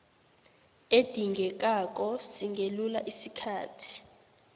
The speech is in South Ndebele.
edingekako singelula isikhathi